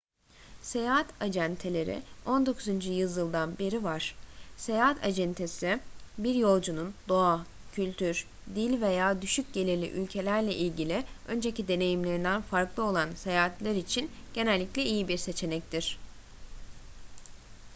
seyahat acenteleri 19. yüzyıldan beri var seyahat acentesi bir yolcunun doğa kültür dil veya düşük gelirli ülkelerle ilgili önceki deneyimlerinden farklı olan seyahatler için genellikle iyi bir seçenektir